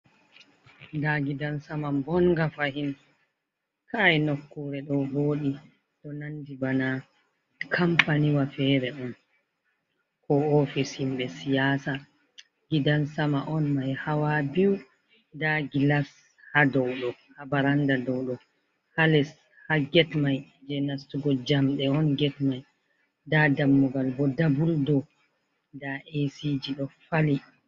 Nda gidansama bonnga fahin, kai nokkure ɗo voɗi, ɗo nandi bana kampaniwa fere on ko ofis himɓe siyasa. Gidan sama on mai hawa biyu nda gilas ha dow ɗo ha baranda dow ɗo, ha les ha get mai je nastugo njamɗe on get mai, nda dammugal bo doubul do, nda esiji ɗo fali.